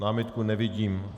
Námitku nevidím.